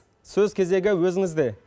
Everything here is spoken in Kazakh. сөз кезегі өзіңізде